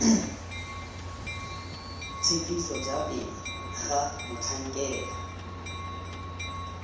tshekiso ja pele ga motlhankela